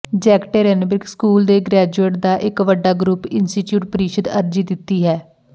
Yekaterinburg school ਦੇ graduate ਦਾ ਇੱਕ ਵੱਡਾ ਗਰੁੱਪ ਇੰਸਟੀਚਿਊਟ ਪ੍ਰੀਸ਼ਦ ਅਰਜੀ ਦਿੱਤੀ ਹੈ